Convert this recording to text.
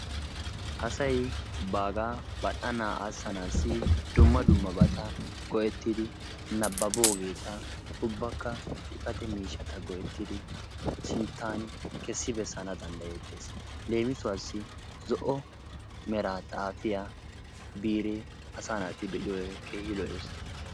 Asay baagaa bal'anaa aasanasi dumma dummabata go'ettidi nabbaboogeeta ubbakka xifate miishata go'ettidi sintaani kessi bessana danddayettees. leemissuwaassi zo"o meraa xaafiya biiree asaa naati be'iyode keehi lo'ees.